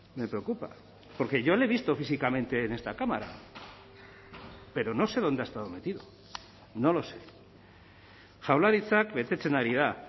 me preocupa porque yo le he visto físicamente en esta cámara pero no sé dónde ha estado metido no lo sé jaurlaritzak betetzen ari da